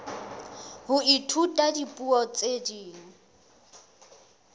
ho ithuta dipuo tse ding